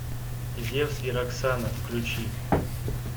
зевс и роксана включи